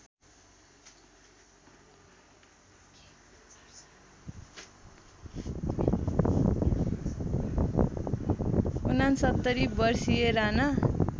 ६९ वर्षीय राना